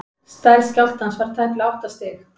stærð skjálftans var tæplega átta stig